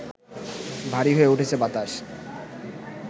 ভারী হয়ে উঠেছে বাতাস